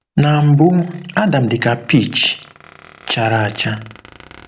“Na mbụ Adam dị ka peach chara acha.”